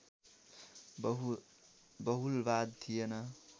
बहुलवाद थिएन